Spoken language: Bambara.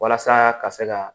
Walasa ka se ka